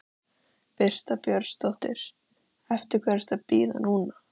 Birta Björnsdóttir: Eftir hverju ertu að bíða núna?